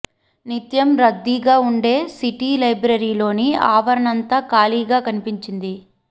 నిత్యం రద్దీగా ఉండే సిటీ లైబ్రరీలోని ఆవరణంతా ఖాళీ గా కనిపించింది